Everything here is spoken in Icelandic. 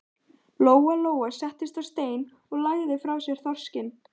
Lóa Lóa settist á stein og lagði frá sér þorskinn.